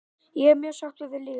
Ég er mjög sáttur við liðið mitt.